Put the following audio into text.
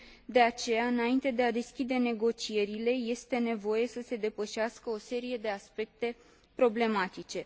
De aceea, înainte de a deschide negocierile, este nevoie să se depășească o serie de aspecte problematice.